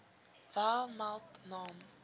wel meld naam